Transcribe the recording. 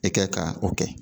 I kɛ ka o kɛ